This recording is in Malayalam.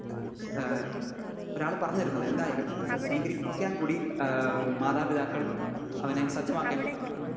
സ്പീക്കർ 2 ഏഹ് ഒരാൾ പറഞ്ഞു തരുന്നത് എന്തായാലും അത് സ്വീകരിപ്പിക്കാൻ കൂടി ഏഹ് മാതാപിതാക്കൾ അവനെ സജ്ജമാക്കേണ്ടതുണ്ട്.